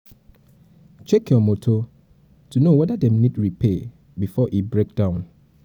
check your motor to know weda dem need repair before e break down